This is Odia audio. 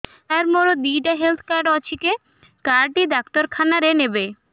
ସାର ମୋର ଦିଇଟା ହେଲ୍ଥ କାର୍ଡ ଅଛି କେ କାର୍ଡ ଟି ଡାକ୍ତରଖାନା ରେ ନେବେ